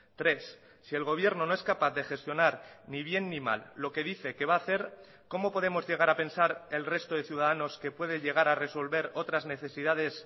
tres si el gobierno no es capaz de gestionar ni bien ni mal lo que dice que va a hacer cómo podemos llegar a pensar el resto de ciudadanos que puede llegar a resolver otras necesidades